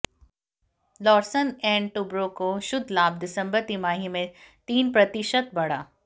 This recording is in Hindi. लार्सन एंड टुब्रो का शुद्ध लाभ दिसंबर तिमाही में तीन प्रतिशत बढ़ा